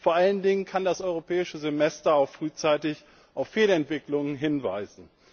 Vor allen Dingen kann das Europäische Semester auch frühzeitig auf Fehlentwicklungen hinweisen.